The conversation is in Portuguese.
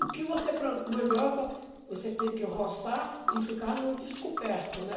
O que você planta mandioca, você tem que roçar e ficar no descoberto, né?